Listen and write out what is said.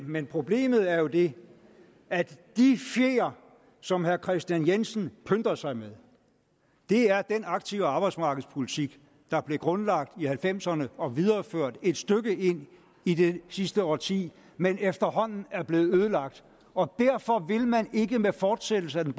men problemet er jo det at de fjer som herre kristian jensen pynter sig med er den aktive arbejdsmarkedspolitik der blev grundlagt i nitten halvfems ’erne og videreført et stykke ind i det sidste årti men efterhånden er blevet ødelagt og derfor vil man ikke med fortsættelse af den